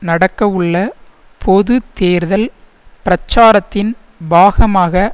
நடக்கவுள்ள பொது தேர்தல் பிரச்சாரத்தின் பாகமாக